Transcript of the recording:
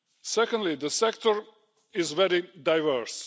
Secondly, the sector is a very diverse.